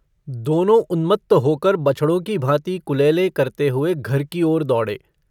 दोनों उन्मत्त होकर बछड़ों की भाँति कुलेलें करते हुए घर की ओर दौड़े।